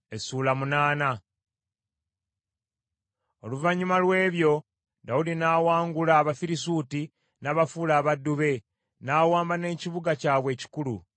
Oluvannyuma lw’ebyo, Dawudi n’awangula Abafirisuuti, n’abafuula abaddu be, n’awamba n’ekibuga kyabwe ekikulu.